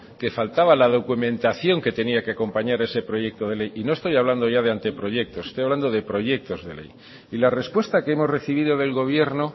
que faltaba la documentación que tenía que acompañar a ese proyecto de ley y no estoy hablando de anteproyectos estoy hablando de proyectos de ley y la respuesta que hemos recibido del gobierno